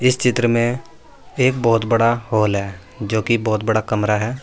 इस चित्र में एक बहोत बड़ा हॉल है जोकि बहोत बड़ा कमरा है।